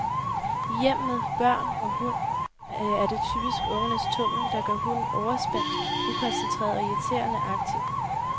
I hjem med børn og hund er det typisk ungernes tummel, der gør hunden overspændt, ukoncentreret og irriterende aktiv.